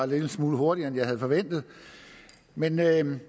lille smule hurtigere end jeg havde forventet men jeg vil